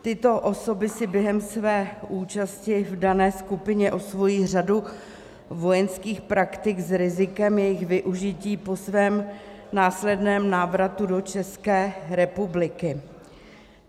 Tyto osoby si během své účasti v dané skupině osvojí řadu vojenských praktik s rizikem jejich využití po svém následném návratu do České republiky.